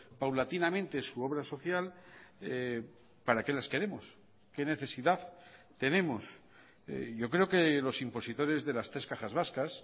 paulatinamente su obra social para qué las queremos qué necesidad tenemos yo creo que los impositores de las tres cajas vascas